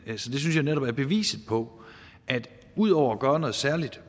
det synes jeg netop er beviset på at ud over at gøre noget særligt